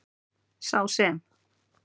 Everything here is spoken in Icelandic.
Sá sem.